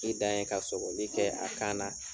I dan ye ka sɔgɔli kɛ a kan na.